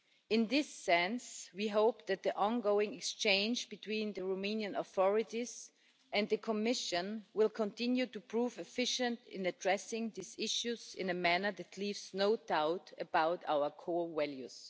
In this sense we hope that the ongoing exchange between the Romanian authorities and the Commission will continue to prove efficient in addressing these issues in a manner that leaves no doubt about our core values.